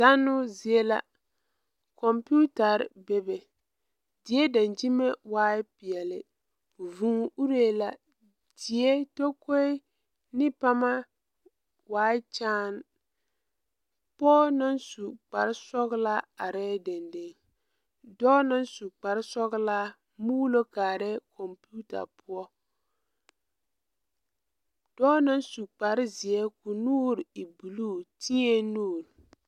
Zannoo zie la kɔmpiitaer be be die dankyimɛ waa peɛle vuu uree la die take ne paama waa kyaane pɔge naŋ su kpar sɔgelaa arɛɛ dendeŋe dɔɔ naŋ su kpar sɔgelaa muulo kparɛɛ kɔmpiita poɔ dɔɔ naŋ su kpar zeɛ ka o nuure e buluu teɛŋ nuure